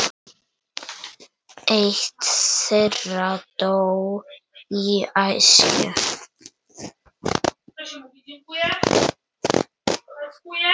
Jú, afi, ég man.